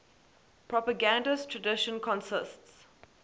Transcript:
propagandist tradition consists